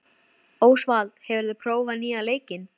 Ósvald, hefur þú prófað nýja leikinn?